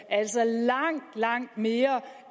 altså langt langt mere